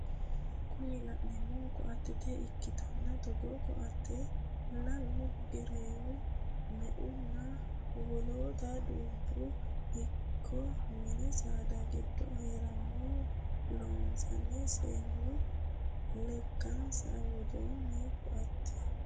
Kuni la'neemohu ko"atte ikkanna togoo ko"atte lalu, gereewu, me"unna wolota dubbuno ikko mini saada goga horonsi'ne loonsanni seennu lekansara wodhanno ko"atteti.